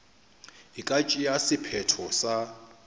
e ka tšea sephetho sa